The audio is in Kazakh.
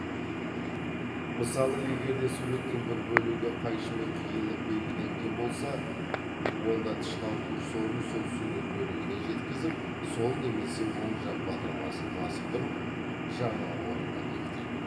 мысалы егер де суреттің бір бөлігі қайшымен қиылып белгіленген болса онда тышқан курсорын сол сурет бөлігіне жеткізіп сол немесе оң жақ батырмасын баспы тұрып жаңа орынға бекітеді